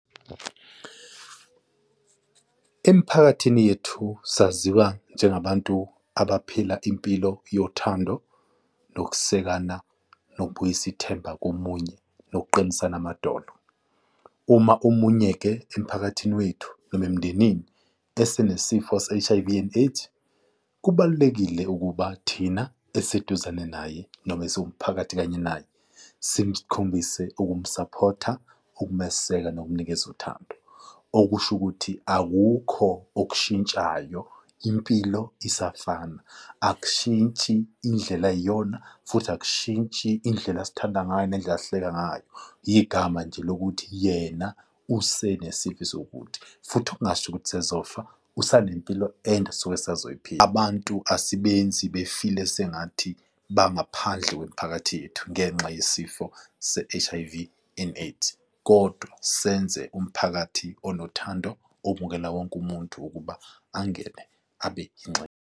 Emiphakathini yethu saziwa njengabantu abaphila impilo yothando, nokusekana, nokubuyisa ithemba komunye, nokuqinisana amadolo. Uma omunye-ke emphakathini wethu noma emndenini esenesifo se-H_I_V and AIDS, kubalulekile ukuba thina eseduzane naye noma esiwumphakathi kanye naye simkhombise ukumsaphotha, ukumeseka, nokumnikeza uthando. Okusho ukuthi akukho okushintshayo impilo isafana, akushintshi indlela ayiyona futhi akushintshi indlela asithanda ngayo nendlela asihleka ngayo igama nje lokuthi yena usenesifo esiwukuthi futhi, okungasho ukuthi sezofa usanempilo ande asuke asazoyiphila. Abantu asibenzi befile sengathi bangaphandle kwemiphakathi yethu ngenxa yesifo se-H_I_V and AIDS kodwa senze umphakathi onothando obukela wonke umuntu ukuba angene abe yingxenye.